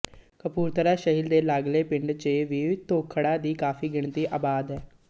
ਕਪੂਰਥਲਾ ਸ਼ਹਿਰ ਦੇ ਲਾਗਲੇ ਪਿੰਡਾਂ ਚ ਵੀ ਧੋਥੜਾਂ ਦੀ ਕਾਫ਼ੀ ਗਿਣਤੀ ਆਬਾਦ ਏ